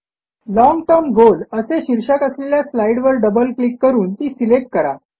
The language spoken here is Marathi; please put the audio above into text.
लाँग टर्म गोल असे शीर्षक असलेल्या स्लाईडवर डबल क्लिक करून ती सिलेक्ट करा